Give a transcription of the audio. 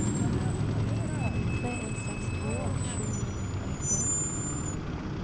tre en seks to åttisju ni hundre og nittien